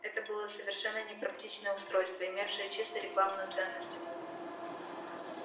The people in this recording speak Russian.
это было совершенно непрактичное устройство имевшее чисто рекламную ценность